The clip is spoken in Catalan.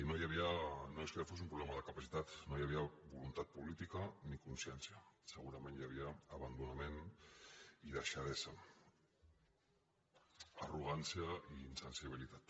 no és que fos un problema de capacitat no hi havia voluntat política ni consciència segurament hi havia abandonament i deixadesa arrogància i insensibilitat